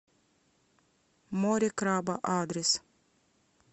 море краба адрес